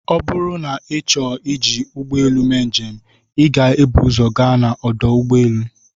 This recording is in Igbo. Ọ bụrụ na ịchọọ iji ụgbọelụ mee njem, ị ga-ebu ụzọ gaa ọdụ ụgbọelụ.